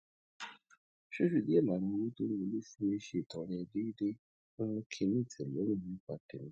fífi díè lára owó tó ń wọlé fún mi ṣètọrẹ déédéé ń mú kí n ní ìtélórùn nípa tèmí